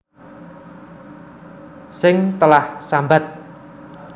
Sing telah sambat